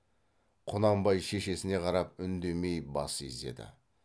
құнанбай шешесіне қарап үндемей бас изеді